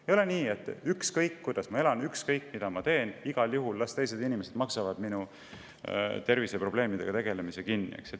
Ei ole nii, et ükskõik, kuidas ma elan, ükskõik, mida ma teen, las teised inimesed maksavad minu terviseprobleemidega tegelemise kinni.